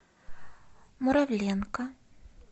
муравленко